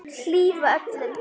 Hlífa öllum.